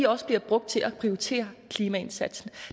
også bliver brugt til at prioritere klimaindsatsen